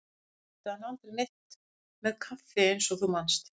Sjálfur átti hann aldrei neitt með kaffi eins og þú manst.